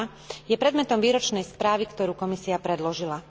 2, je predmetom výročnej správy, ktorú Komisia predložila.